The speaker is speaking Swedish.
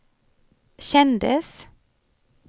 kändes